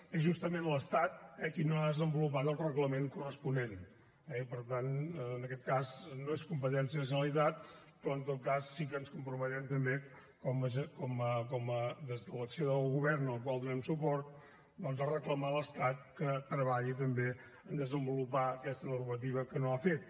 és justament l’estat qui no ha desenvolupat el reglament corresponent eh i per tant en aquest cas no és competència de la generalitat però en tot cas sí que ens comprometem també des de l’acció del govern al qual donem suport doncs a reclamar a l’estat que treballi també per desenvolupar aquesta normativa que no ha fet